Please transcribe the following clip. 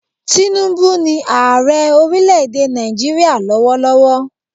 Tinubu ni ààre orílẹ̀ èdè Nàìjíríà lọ́wọ́ lọ́wọ́